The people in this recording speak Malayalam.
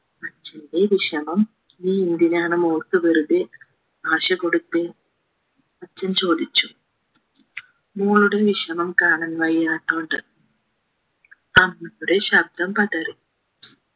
അച്ചന്റെ വിഷമം നീയെന്തിനാണ് മോൾക്ക് വെറുതെ ആശ കൊടുത്തേ അച്ഛൻ ചോദിച്ചു മോളുടെ വിഷമം കാണാൻ വയ്യാത്തോണ്ട് പറഞ്ഞപ്പോഴേ ശബ്ദം പതറി